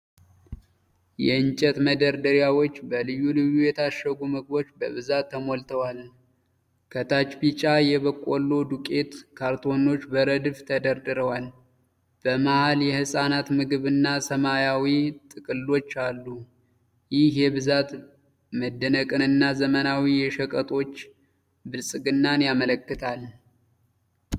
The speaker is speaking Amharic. የእንጨት መደርደሪያዎች በልዩ ልዩ የታሸጉ ምግቦች በብዛት ተሞልተዋል። ከታች ቢጫ የበቆሎ ዱቄት ካርቶኖች በረድፍ ተደርድረዋል። በመሃል የሕፃናት ምግብና ሰማያዊ ጥቅሎች አሉ። ይህ የብዛት መደነቅንና የዘመናዊ የሸቀጦች ብልጽግናን ያመለክታል።